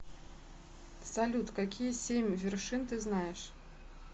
салют какие семь вершин ты знаешь